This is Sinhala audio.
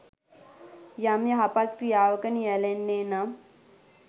යම් යහපත් ක්‍රියාවක නියැළෙන්නේ් නම්